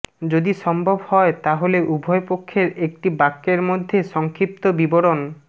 যদি সম্ভব হয় তাহলে উভয় পক্ষের একটি বাক্যের মধ্যে সংক্ষিপ্ত বিবরণ